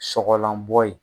Sɔgɔlanbɔ ye.